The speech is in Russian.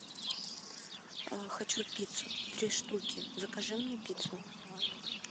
хочу пиццу три штуки закажи мне пиццу